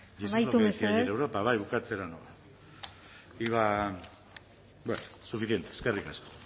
cargos y eso es lo que decía ayer europa amaitu mesedez bai bukatzera noa iba a bueno suficiente eskerrik asko